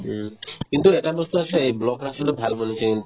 উম, কিন্তু এটা বস্তু আছে এই block ৰাস্তাতো ভাল বনাইছে কিন্তু